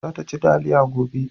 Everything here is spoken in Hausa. za ta ci taliya gobe